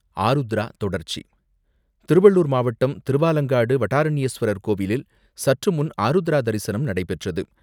ஆருத்ரா தொடர்ச்சி திருவள்ளூர் மாவட்டம், திருவாலங்காடு வடாரண்யேஸ்வரர் கோவிலில் சற்றுமுன் ஆருத்ரா தரிசனம் நடைபெற்றது.